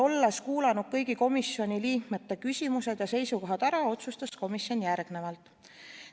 Olles ära kuulanud kõigi komisjoni liikmete küsimused ja seisukohad, otsustas komisjon järgmist.